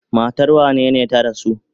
Matar wanene ta rasu?